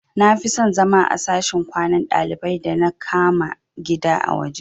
Nafison zama a sashin kwanan dalibai da na kama gida a waje